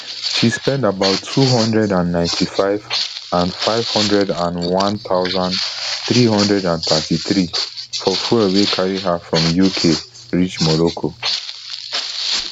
she spend about two hundred and ninety-five nfive hundred and one thousand, three hundred and thirty-three for fuel wey carry her from uk reach morocco